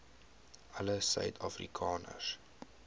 alle suid afrikaners